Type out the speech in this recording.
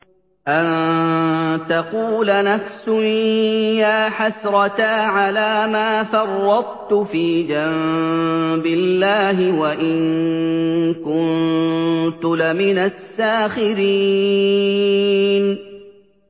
أَن تَقُولَ نَفْسٌ يَا حَسْرَتَا عَلَىٰ مَا فَرَّطتُ فِي جَنبِ اللَّهِ وَإِن كُنتُ لَمِنَ السَّاخِرِينَ